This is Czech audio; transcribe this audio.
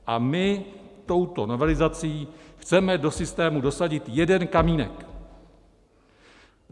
A my touto novelizací chceme do systému dosadit jeden kamínek.